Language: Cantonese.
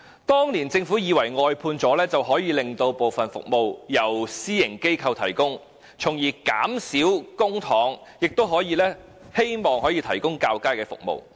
當年政府以為外判安排可以令部分服務轉由私營機構提供，從而以較少的公帑提供較佳的服務。